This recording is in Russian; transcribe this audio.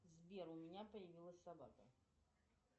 сбер у меня появилась собака